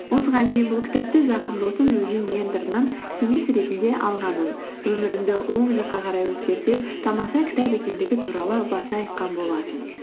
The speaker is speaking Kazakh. осыған дейін бұл кітапты жақын досым өзінің менторынан кеңес ретінде алғанын өміріңді оң жаққа қарай өзгертеді тамаша кітап екендігі туралы баса айтқан болатын